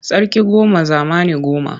Sarki goma zamani goma.